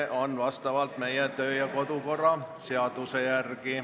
Nii on see meie kodu- ja töökorra seaduses.